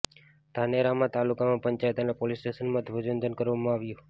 ધાનેરામાં તાલુકા પંચાયત અને પોલીસ સ્ટેશનમાં ધ્વજવંદન કરવામાં આવ્યું